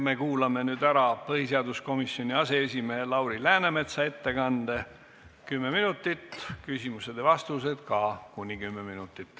Me kuulame nüüd ära põhiseaduskomisjoni aseesimehe Lauri Läänemetsa ettekande, kümme minutit, küsimused ja vastused ka kuni kümme minutit.